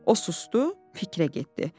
O susdu, fikrə getdi.